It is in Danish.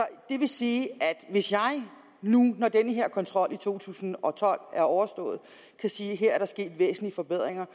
det vil sige at hvis jeg nu når den her kontrol i to tusind og tolv er overstået kan sige at her er der sket væsentlige forbedringer